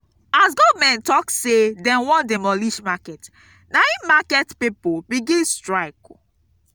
as government tok sey dem wan demolish market na im market pipo begin strike.